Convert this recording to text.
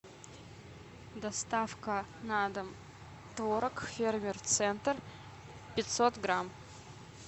доставка на дом творог фермер центр пятьсот грамм